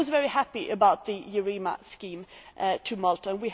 I was very happy about the EUREMA scheme in Malta.